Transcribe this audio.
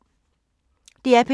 DR P2